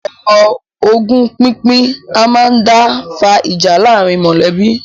Ọ̀rọ̀ ogún pínpín a máa dá fa ìjà láàárín mọ̀lẹ́bí.